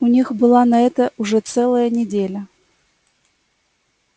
у них была на это уже целая неделя